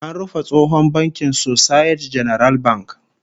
An rufe tsohon bankin Societe Generale Bank